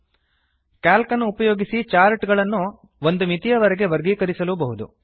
C A L C ಅನ್ನು ಉಪಯೋಗಿಸಿ chart ಗಳನ್ನು ಒಂದು ಮಿತಿಯವರೆಗೆ ವರ್ಗೀಕರಿಸಲೂಬಹುದು